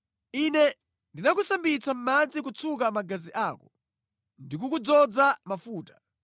“ ‘Ine ndinakusambitsa mʼmadzi kutsuka magazi ako ndikukudzoza mafuta.